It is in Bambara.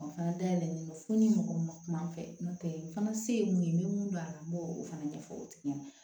O fana dayɛlɛlen fo ni mɔgɔ ma kuma n'a fɛ n'o tɛ fana se ye mun ye n bɛ mun dɔn a la n b'o fana ɲɛfɔ o tigi ɲɛna